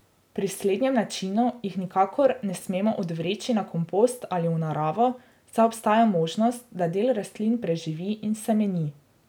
Pri slednjem načinu jih nikakor ne smemo odvreči na kompost ali v naravo, saj obstaja možnost, da del rastlin preživi in semeni.